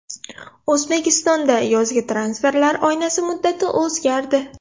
O‘zbekistonda yozgi transferlar oynasi muddati o‘zgardi.